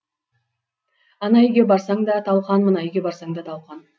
ана үйге барсаң да талқан мына үйге барсаң да талқан